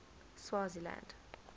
swaziland